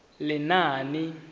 lenaane